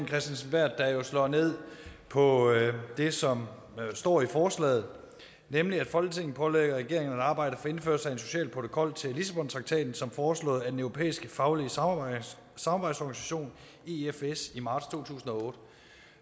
kristensen berth jo slår ned på det som står i forslaget nemlig folketinget pålægger regeringen at arbejde for indførelsen af en social protokol til lissabontraktaten som foreslået af den europæiske faglige samarbejdsorganisation i i marts to tusind og otte